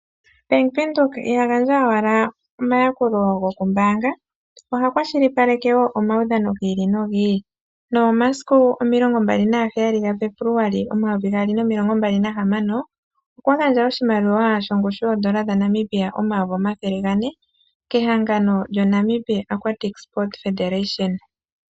Bank Windhoek iha gandja owala omayakulo gokumbaanga oha kwashilipaleke wo omaudhano gi ili nogi ili nomomasiku 27 Febuluali 2026 okwa gandja oshimaliwa shongushu yooN$400 000.00 kehangano lyoNamibia Aquatic Sport Federation.